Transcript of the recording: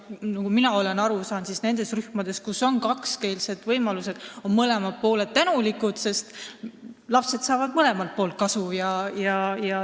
Nagu mina aru saanud olen, on kakskeelsetes rühmades mõlemad pooled tänulikud, sest lapsed saavad mõlemat pidi kasu.